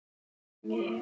Sirkus er ekkert grín.